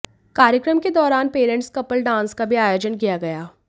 कार्यक्रम के दौरान पेरेंट्स कपल डांस का भी आयोजन किया गया